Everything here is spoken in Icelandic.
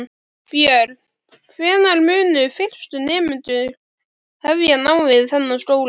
Björn: Hvenær munu fyrstu nemendur hefja nám við þennan skóla?